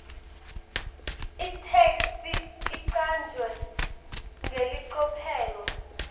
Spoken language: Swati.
itheksthi icanjwe ngelicophelo